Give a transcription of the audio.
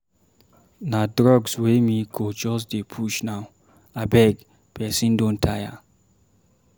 Na drugs wey me go just dey push now. Abeg, person don tire.